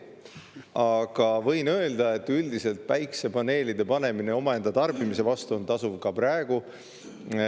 Aga võin öelda, et üldiselt on päikesepaneelide panemine omaenda tarbimise jaoks tasuv ka praegu.